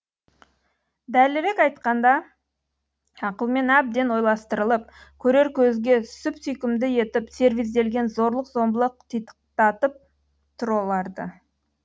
дәлірек айтқанда ақылмен әбден ойластырылып көрер көзге сүп сүйкімді етіп сервизделген зорлық зомбылық титықтатып тұр оларды